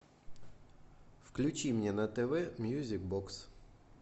включи мне на тв мьюзик бокс